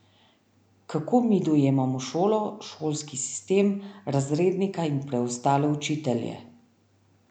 Kako mi dojemamo šolo, šolski sistem, razrednika in preostale učitelje?